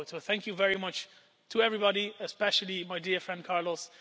Thank you very much to everybody concerned, especially my dear friend Carlos.